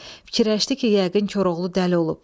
Fikirləşdi ki, yəqin Koroğlu dəli olub.